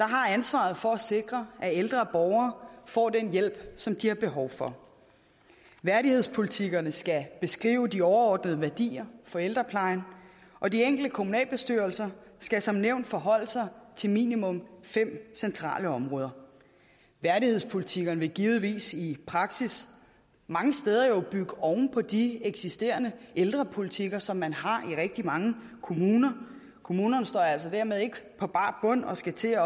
har ansvaret for at sikre at ældre borgere får den hjælp som de har behov for værdighedspolitikkerne skal beskrive de overordnede værdier for ældreplejen og de enkelte kommunalbestyrelser skal som nævnt forholde sig til minimum fem centrale områder værdighedspolitikkerne vil givetvis i praksis mange steder jo bygge oven på de eksisterende ældrepolitikker som man har i rigtig mange kommuner kommunerne står altså dermed ikke på bar bund og skal til at